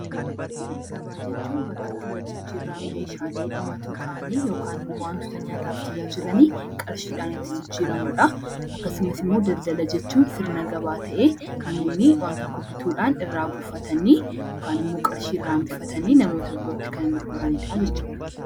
Gabaa jechuun bakka itti wal jijjiirraan meeshaalee dhumatoo ta'anii yookaan immoo wantoota nyaataaf tajaajilanii qarshii dhaan itti jijjiiramu dha. Akkasumas immoi daldala jechuun sirna gabaa ta'ee, namoonni waan tokko bituu dhaan irraa buufatanii yookaan immoo qarshii irraa hambifatanii namoota birootti kan gurgurani dha jechuu dha.